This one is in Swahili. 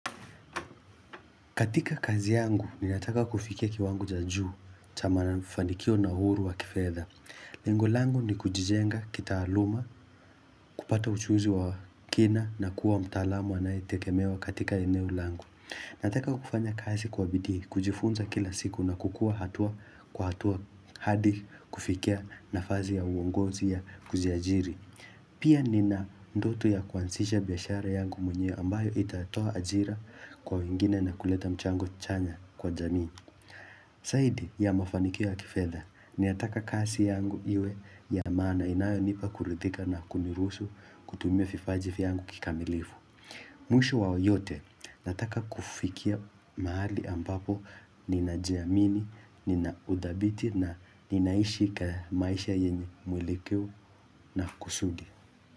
Katika kazi yangu, ninataka kufikia kiwango cha juu, cha mafanikio na uhuru wa kifedha. Lengo langu ni kujijenga, kitaaluma, kupata ujuzi wa kina na kuwa mtaalamu anayitegemewa katika eneo langu. Nataka kufanya kazi kwa bidii, kujifunza kila siku na kukua hatua kwa hatua hadi kufikia nafazi ya uongozi ya kujiajiri. Pia nina ndoto ya kuanzisha biashara yangu mwenye ambayo itatoa ajira kwa wengine na kuleta mchango chanya kwa jamii. Zaidi ya mafanikio ya kifedha ninataka kazi yangu iwe ya maana inayo nipa kuridhika na kuniruhusu kutumia vipaji vyangu kikamilifu. Mwish wa yote nataka kufikia mahali ambapo nina jiamini, ninaudhabiti na ninaishi ka maisha yenye mwelekeo na kusudi.